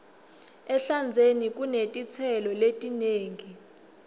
ehlandzeni kunetitselo letinengi